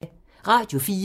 Radio 4